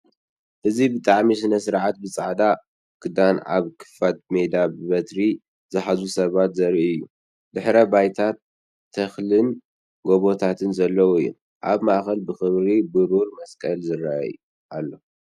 እዚ ብባህላዊ ስነ-ስርዓት ብጻዕዳ ክዳን ኣብ ክፉት ሜዳ፡ በትሪ ዝሓዙ ሰባት ዘርኢ እዩ። ድሕረ ባይታ ተክልንን ጎቦታትንንን ዘለዎ እዩ። ኣብ ማእከል ብኽብሪ ብሩር መስቀል ይርአ ኣሎ።